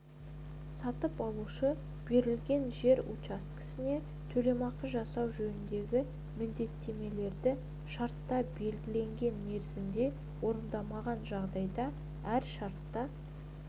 сатып алушы берілген жер учаскесіне төлемақы жасау жөніндегі міндеттемелерді шартта белгіленген мерзімде орындамаған жағдайда әр шартта